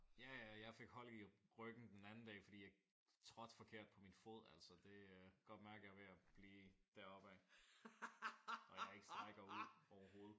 Ja ja og jeg fik hold i ryggen den anden dag fordi jeg trådte forkert på min fod altså det. Jeg kan godt mærke at jeg er ved at blive deroppe ad. Og at jeg ikke strækker ud overhovedet